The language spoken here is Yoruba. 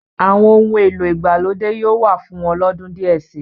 Àwọn ohun èlò ìgbàlódé yóò wà fún wọn lọ́dún díẹ̀ si.